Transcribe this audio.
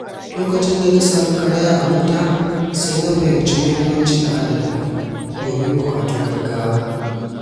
Lokacin da na sami karaya a mota, sai na fahimci muhimmancin adana kuɗi domin buƙatun gaugawa.